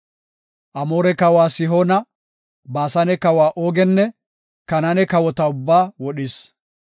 Amoore kawa Sihoona Baasane kawa Oogenne Kanaane kawota ubbaa wodhis.